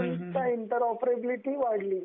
गव्हर्नमेंटची interoperability वाढली,